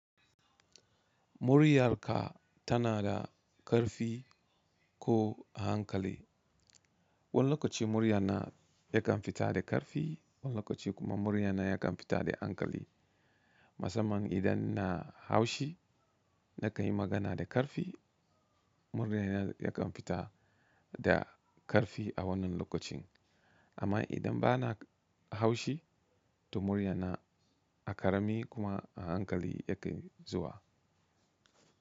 Muryarka tana da karfi ko hankali. Wani lokaci muryana yakan fita da karfi, wani lokaci kuma muryana yakan fita da hankali. Masamman idan na haushi na ka yi magana da karfi muryana yakan fita da karfi a wannan lokacin. Amma idan bana haushi to muryana a karami kuma a hankali ya kai zuwa.